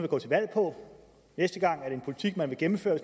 gå til valg på næste gang og er det en politik man vil gennemføre